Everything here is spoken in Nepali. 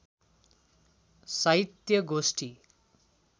साहित्य गोष्ठी